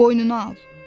Boynuna al.